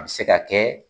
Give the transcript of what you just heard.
A bɛ se ka kɛ